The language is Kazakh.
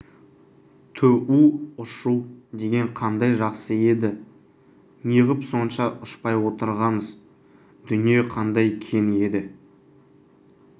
түу ұшу деген қандай жақсы еді неғып сонша ұшпай отырғамыз дүние қандай кең еді